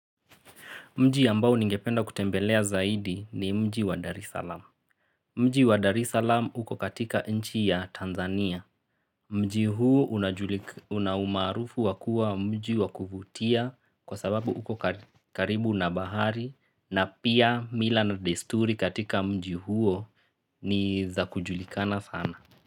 Mji ambao ningependa kutembelea zaidi ni mji wa Darisalam. Mji wa Darisalam uko katika nchi ya Tanzania. Mji huo unaumarufu wakua mji wa kufutia kwa sababu uko karibu na bahari na pia mila na desturi katika mji huo ni za kujulikana sana.